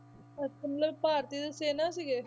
ਅੱਛਾ ਮਤਲਬ ਭਾਰਤੀ ਦੇ ਸੈਨਾ ਸੀਗੇ।